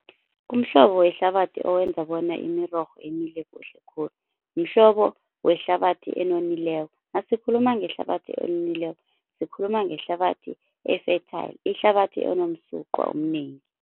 Umhlobo wehlabathi owenza bona imirorho imile kuhle khulu, mhlobo wehlabathi enonileko. Nasikhuluma ngehlabathi enonileko sikhuluma ngehlabathi e-fertile ihlabathi enomsuqwa omnengi.